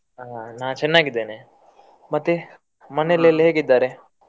ಹಾ ನಾ ಚೆನ್ನಾಗಿದ್ದೇನೆ. ಮತ್ತೆ ಮನೇಲೆಲ್ಲ ಹೇಗಿದ್ದಾರೆ?